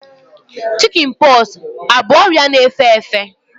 Chikin pọksi abụ ọrịa na-efe efe?